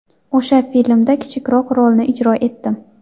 O‘sha filmda kichikroq rolni ijro etdim.